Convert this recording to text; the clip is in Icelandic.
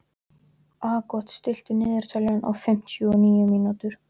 Aagot, stilltu niðurteljara á fimmtíu og níu mínútur.